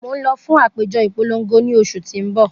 Mo n lọ fun apejọ ipolongo ni oṣu ti n bọ.